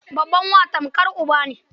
Babban wa tamkar uba ne.